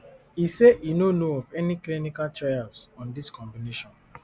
e say e no know of any clinical trials on dis combination